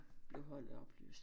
Blev holdet opløst